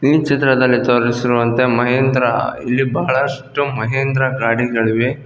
ಈ ಚಿತ್ರದಲ್ಲಿ ತೋರಿಸಿರುವಂತೆ ಮಹಿಂದ್ರ ಇಲ್ಲಿ ಬಹಳಷ್ಟು ಮಹಿಂದ್ರ ಗಾಡಿಗಳಿವೆ.